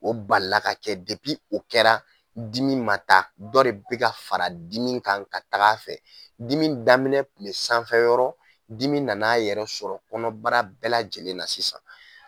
O balila ka kɛ o kɛra dimi ma ta dɔ de bɛ ka fara dimi kan ka taga a fɛ dimi daminɛ tun bɛ sanfɛyɔrɔ dimi nana a yɛrɛ sɔrɔ kɔnɔbara bɛɛ lajɛlen na sisan